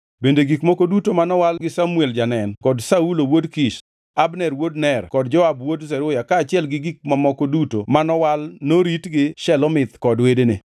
Bende gik moko duto manowal gi Samuel janen kod Saulo wuod Kish, Abner wuod Ner kod Joab wuod Zeruya kaachiel gi gik mamoko duto manowal norit gi Shelomith kod wedene.